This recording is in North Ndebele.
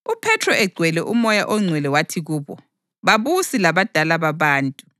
UPhethro egcwele uMoya oNgcwele wathi kubo, “Babusi labadala babantu!